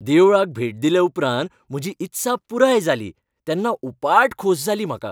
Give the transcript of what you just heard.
देवळाक भेट दिले उपरांत म्हजी इत्सा पुराय जाली तेन्ना उपाट खोस जाली म्हाका.